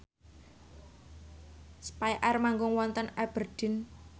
spyair manggung wonten Aberdeen